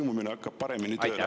Kas lõimumine hakkab paremini tööle?